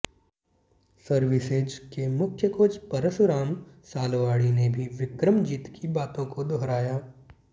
services के मुख्य coach Parashuram Salwadi ने भी बिक्रमजीत की बातों को दोहराया